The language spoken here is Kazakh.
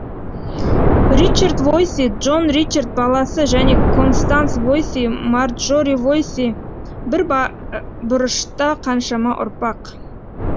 ричард войси джон ричард баласы және констанс войси марджори войси бір бұрышта қаншама ұрпақ